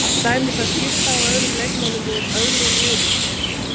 Til dæmis að skipta á öðrum leikmönnum úr öðrum liðum.